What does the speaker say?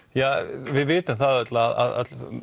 við vitum það öll að